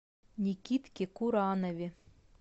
никитке куранове